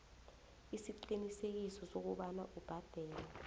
isiqiniseko sokobana ubhadela